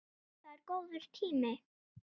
Það er góður tími.